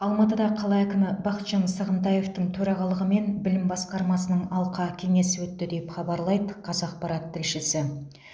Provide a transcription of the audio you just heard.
алматыда қала әкімі бақытжан сағынтаевтың төрағалығымен білім басқармасының алқа кеңесі өтті деп хабарлайды қазақпарат тілшісі